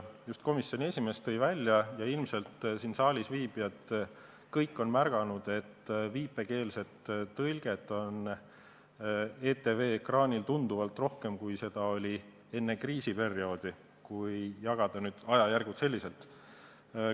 Just komisjoni esimees tõi välja ja ilmselt siin saalis viibijad kõik on märganud, et viipekeeletõlget on ETV ekraanil tunduvalt rohkem, kui seda oli enne kriisiperioodi, kui jagada ajajärke selliselt.